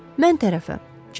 Mən tərəfə, cənab.